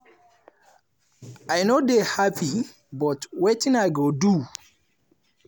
“i no dey happy but wetin i go do?”